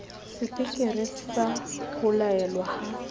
sepeketere sa ho laelwa ha